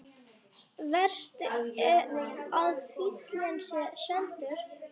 Verst að fíllinn er seldur.